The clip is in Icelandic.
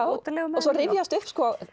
útilegumenn svo rifjast upp